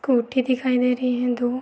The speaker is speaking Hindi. कोठी दिखाई दे रही हैं दो।